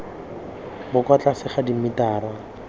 bo kwa tlase ga dimetara